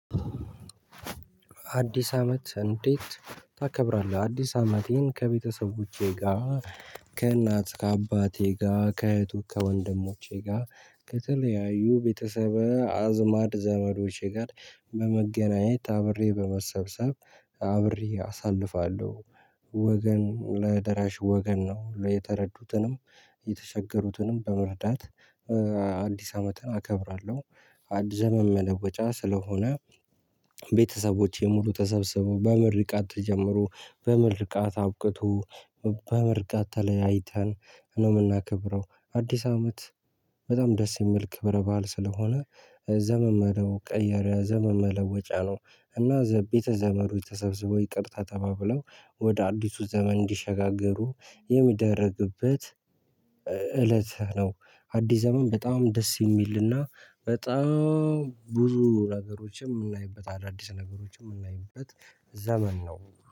አዲስ አመት እንዴት ታከብራለህ? አዲስ አመቴን ከቤተሰቦቼ ጋር ከእናት ከአባቴ ጋ ከእህቱ ከወንድሞቼ ጋ ከተለያዩ ቤተሰብ አዝማድ ዘመዶቼ ጋር በመገናኘት አብሬ በመሰብሰብ አብሬ አሳልፋለሁ። ወገን ለደራሽ ወገን ነው የተረዱትንም የተቸገሩትንም በመርዳት አዲስ አመትን አከብራለሁ። ዘመን መለወጫ ስለሆነ ቤተሰቦች ሙሉ ተሰብስበው በምርቃት ጀምሩ በምርቃት አውቅቶ በምርቃት ተለያይተን ነው የምናከብረው። አዲስ አመት በጣም ደስ የሚል ክብረ ባል ስለሆነ ዘመን መለወጫ ነው። እና ዘቢተ ዘመዱ የተሰበሰበው ይቅርታ ተባብለው ወደ አዲሱ ዘመን እንዲሸጋገሩ የሚደረግበት እለት ነው። አዲስ ዘመን በጣም ደስ የሚልና በጣም ብዙ ነገሮችን የምናይበት አዳዲስ ነገሮች የምናይበት ዘመን ነው